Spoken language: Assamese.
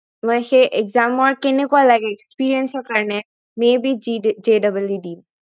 মই সেই exam ৰ কেনেকুৱা লাগে experience ৰ কাৰনে may be gJEE দিম